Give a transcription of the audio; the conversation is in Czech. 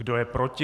Kdo je proti?